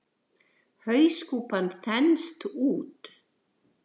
Hauskúpan þenst út.